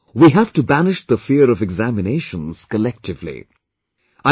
Friends, we have to banish the fear of examinations collectively